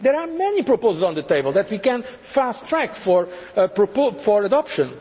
table. There are many proposals on the table that we can fast track for